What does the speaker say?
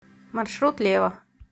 маршрут лева